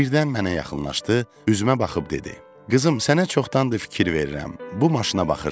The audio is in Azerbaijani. Birdən mənə yaxınlaşdı, üzümə baxıb dedi: Qızım, sənə çoxdandır fikir verirəm, bu maşına baxırsan.